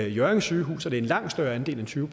hjørring sygehus hvor det en langt større andel end tyve